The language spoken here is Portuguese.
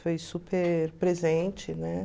Foi super presente, né?